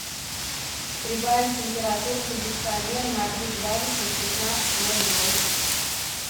прибавить температуру кондиционера на три градуса в пятнадцать ноль ноль